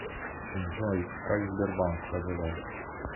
джой как сбербанк поживает